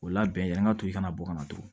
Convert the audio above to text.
O la bɛn yan ka to i kana bɔ ka na turu